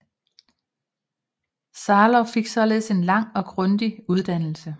Sylow fik således en lang og grundig uddannelse